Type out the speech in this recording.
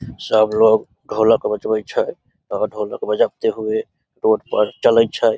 सब लोग ढोलक बजवै छै ढोलक बजाते हुए रोड पर चले छै ।